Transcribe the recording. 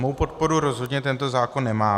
Mou podporu rozhodně tento zákon nemá.